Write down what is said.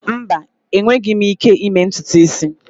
Mba, enweghị m ike ịme ntutu isi.